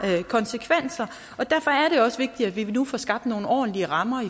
konsekvenser derfor er det også vigtigt at vi nu får skabt nogle ordentlige rammer